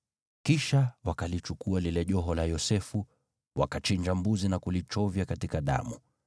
Kisha wakalichukua lile joho la Yosefu, wakachinja mbuzi na kulichovya katika damu.